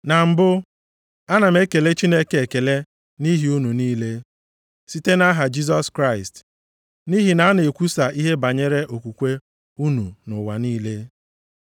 Na mbụ, ana m ekele Chineke ekele nʼihi unu niile, site nʼaha Jisọs Kraịst. Nʼihi na a na-ekwusa ihe banyere okwukwe unu nʼụwa niile.